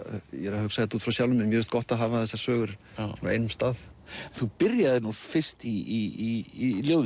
ég er að hugsa þetta út frá sjálfum mér mér finnst gott að hafa þessar sögur á einum stað þú byrjaðir nú fyrst í